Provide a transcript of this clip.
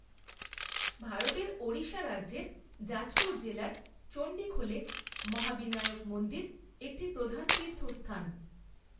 ভারতের ওড়িশা রাজ্যের জাজপুর জেলার চন্ডীখোলে মহাবিনায়ক মন্দির একটি প্রধান তীর্থস্থান।